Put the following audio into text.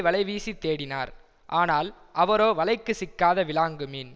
வலைவீசி தேடினார் ஆனால் அவரோ வலைக்கு சிக்காத விலாங்கு மீன்